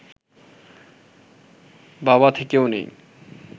বাবা থেকেও নেই